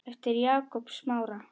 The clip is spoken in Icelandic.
eftir Jakob Smára.